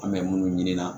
An bɛ munnu ɲini na